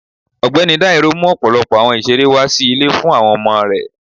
Ọgbẹni Dairo mú ọpọlọpọ awọn ìserẹ́ wa si ilé fún awọn ọmọ rẹ